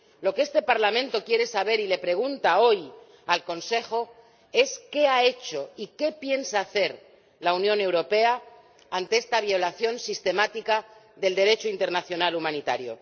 Lo que este Parlamento quiere saber y le pregunta hoy al Consejo es qué ha hecho y qué piensa hacer la Unión Europea ante esta violación sistemática del Derecho internacional humanitario.